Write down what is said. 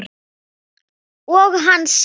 Og hann sagði